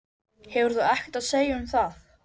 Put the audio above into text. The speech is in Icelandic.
Hann kvaddi Tóta aftur EN en hikaði enn.